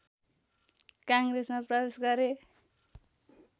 काङ्ग्रेसमा प्रवेश गरे